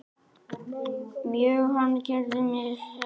Mjög ánægður með mig.